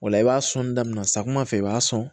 O la i b'a sɔnni daminɛ samiyɛ fɛ i b'a sɔn